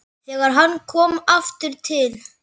Þegar hann kom aftur til